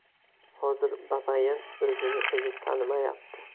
Hozir Babayan o‘zini-o‘zi tanimayapti.